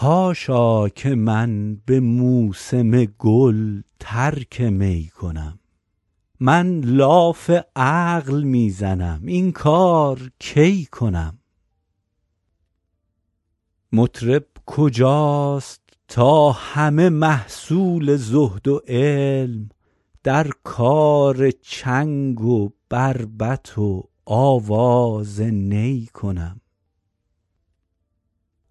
حاشا که من به موسم گل ترک می کنم من لاف عقل می زنم این کار کی کنم مطرب کجاست تا همه محصول زهد و علم در کار چنگ و بربط و آواز نی کنم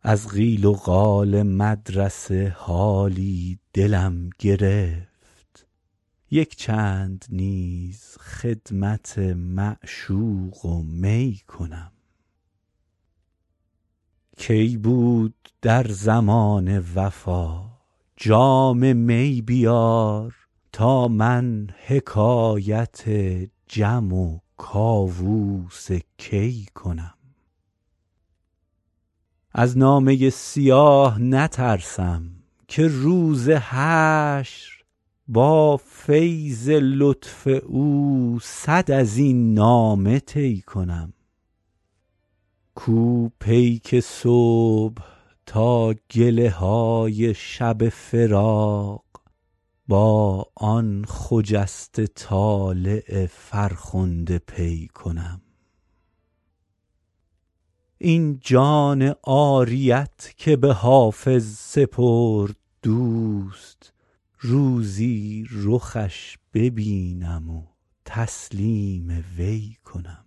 از قیل و قال مدرسه حالی دلم گرفت یک چند نیز خدمت معشوق و می کنم کی بود در زمانه وفا جام می بیار تا من حکایت جم و کاووس کی کنم از نامه سیاه نترسم که روز حشر با فیض لطف او صد از این نامه طی کنم کو پیک صبح تا گله های شب فراق با آن خجسته طالع فرخنده پی کنم این جان عاریت که به حافظ سپرد دوست روزی رخش ببینم و تسلیم وی کنم